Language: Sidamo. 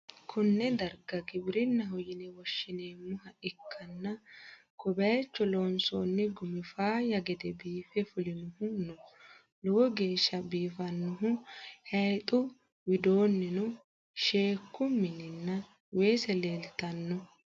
konne darga gibirinnaho yine woshhsineemmoha ikkanna, ko bayicho loonsoonni gumi faayya gede biife fulinohu no, lowo geeshsha biifannoho, hayiixu widoonnino sheekku minnanna weese leeltanno.